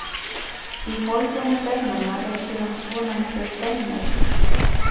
Í holrúmi beinanna er síðan svonefndur beinmergur.